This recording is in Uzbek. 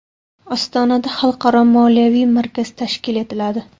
Ostonada xalqaro moliyaviy markaz tashkil etiladi.